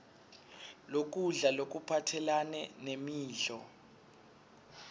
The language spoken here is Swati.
lokudla lokuphathelane nemidlo